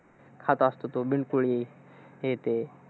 खात असतो तो, बिनकुळे, हे ते.